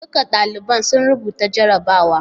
Duka daliban sun rubuta jarrabawar.